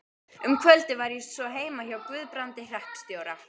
Um kvöldið var ég svo heima hjá Guðbrandi hreppstjóra.